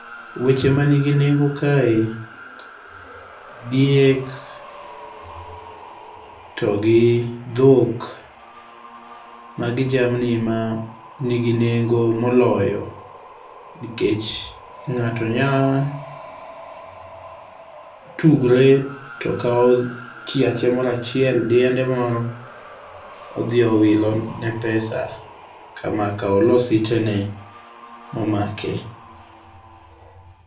Weche manigi nengo kae, diek togi dhok. Magi jamni ma nigi nengo moloyo nikech ng'ato nya tugre to kawo chiache moro achiel, diende moro odhi owilo ne pesa kamaka olo sitene momake.